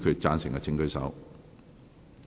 贊成的請舉手。